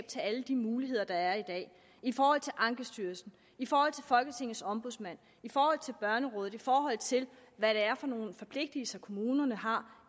til alle de muligheder der er i dag i forhold til ankestyrelsen i forhold til folketingets ombudsmand i forhold til børnerådet i forhold til hvad det er for nogle forpligtelser kommunerne har